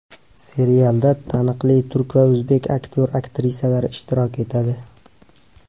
Serialda taniqli turk va o‘zbek aktyor-aktrisalari ishtirok etadi.